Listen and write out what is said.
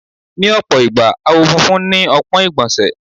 Ní ọ̀pọ̀ ìgbà, àwọ̀ funfun ni ọpọ́n ìgbọ̀nsẹ̀.